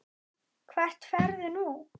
Hvert ferðu nú?